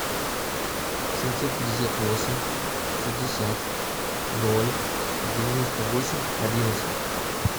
семьсот пятьдесят восемь шестьдесят ноль девяносто восемь одиннадцать